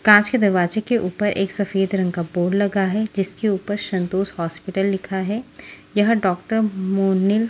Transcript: कांच के दरवाजे के ऊपर एक सफेद रंग का बोर्ड लगा है जिसके ऊपर संतोष हॉस्पिटल लिखा है यह डॉक्टर मोनी --